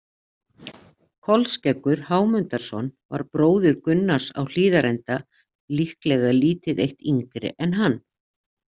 Kolskeggur Hámundarson var bróðir Gunnars á Hlíðarenda, líklega lítið eitt yngri en hann.